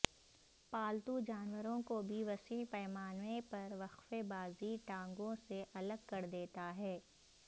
پالتو جانوروں کو بھی وسیع پیمانے پر وقفے بازی ٹانگوں سے الگ کر دیتا ہے